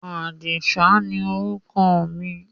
Àdìsá ni orúkọ mi.